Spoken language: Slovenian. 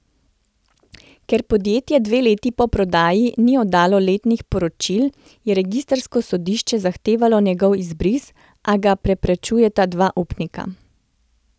Ker podjetje dve leti po prodaji ni oddalo letnih poročil, je registrsko sodišče zahtevalo njegov izbris, a ga preprečujeta dva upnika.